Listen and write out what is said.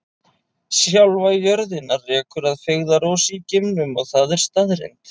Sjálfa jörðina rekur að feigðarósi í geimnum og það er staðreynd.